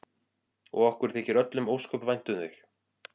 Og okkur þykir öllum ósköp vænt um þig.